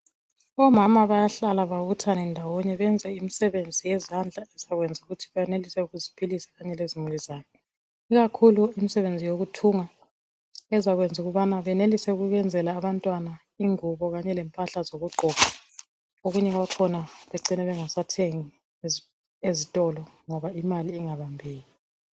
Omama bayahlala babuthane ndawonye benze imsebenzi yezandla ezakwenza ukuthi bayenelise ukuziphilisa kanye lezimuli zabo ikakhulu imisebenzi yokuthunga ezayenza ukubana benelise ukwenzela abantwana ingubo kanye lempahla zokugqoka okunye kwakhona becine bengasathengi ezitolo ngoba imali ingabambeki